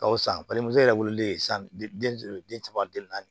Ka wusa balimamuso yɛrɛ wololen san den caman den naani